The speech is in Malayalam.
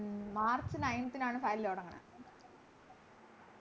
March nineth ആണ് Final തൊടങ്ങണെ